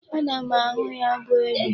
Ana m ahụ ya bụ ede.